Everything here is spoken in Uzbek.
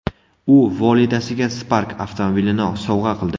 U volidasiga Spark avtomobilini sovg‘a qildi.